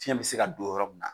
Fɛn bɛ se ka don yɔrɔ min na